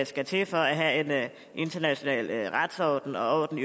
skal til for at have en international retsorden og en